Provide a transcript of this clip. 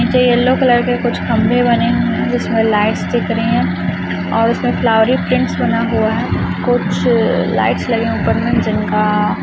नीचे yellow colour के कुछ खंबे बने हुए हैं जिसमें लाइट्स दिख रही है और इसमें फ्लावरी प्रिन्ट बना हुआ है कुछ लाइट्स लगे हुए है जिनका--